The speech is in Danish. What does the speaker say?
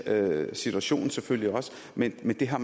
situationen selvfølgelig men det har